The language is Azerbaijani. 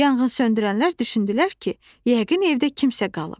Yanğınsöndürənlər düşündülər ki, yəqin evdə kimsə qalıb.